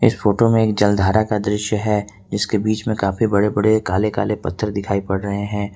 इस फोटो में एक जलधारा का दृश्य है इसके बीच में काफी बड़े बड़े काले काले पत्थर दिखाई पड़ रहे हैं।